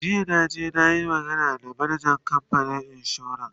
jiya na je nayi magana da manajan kamfanin insuran